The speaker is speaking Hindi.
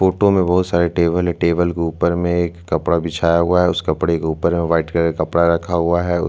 फोटो में बहोत सारे टेबल है टेबल के ऊपर में एक कपड़ा बिछाया हुआ है उस कपड़े के ऊपर व्हाइट कलर का कपड़ा रखा हुआ है उस--